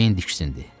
Jane diksindi.